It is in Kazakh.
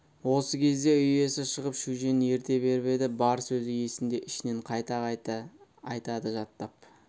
осы кезде үй иесі шығып шөжені ерте беріп еді бар сөзі есінде ішінен қайта-қайта айтады жаттап